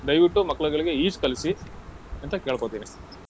ದಯ್ವಿಟ್ಟು ಮಕ್ಳ್ಗಳಿಗೆ ಈಜ್ ಕಲ್ಸಿ, ಅಂತ ಕೇಳ್ಕೋತೀನಿ.